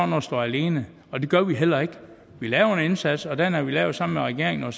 noget stå alene og det gør vi heller ikke vi laver en indsats og den har vi lavet sammen med regeringen og